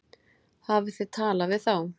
Hafið þið talað við þá?